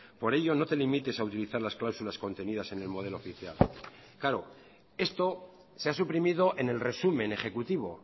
por ello no te limites a utilizar las cláusulas contenidas en el modelo oficial claro esto se ha suprimido en el resumen ejecutivo